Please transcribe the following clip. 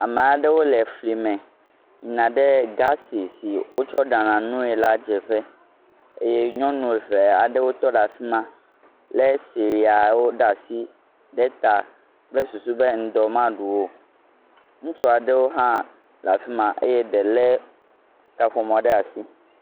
Ame aɖewo le flime yina ɖe gasi si wotsɔ ɖana nui la dzeƒe eye nyɔnu eve aɖewo tɔ ɖe afima le sriyawo ɖe asi ɖe ta kple susu be ŋdɔ maɖu wo. Ŋutsua ɖewo hã le afima eye ɖe le kaƒomɔ ɖe asi.